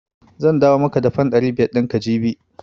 Zan dawo maka da fan ɗari biyar ɗin ka jibi.